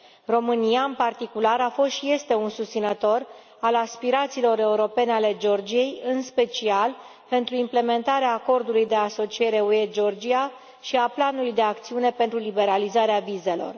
România, în particular, a fost și este un susținător al aspirațiilor europene ale Georgiei, în special pentru implementarea Acordului de asociere UE Georgia și a Planului de acțiune pentru liberalizarea vizelor.